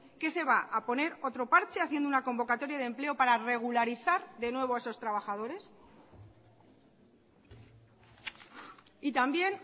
se va a poner otro parche haciendo una convocatoria de empleo para regularizar de nuevo a esos trabajadores y también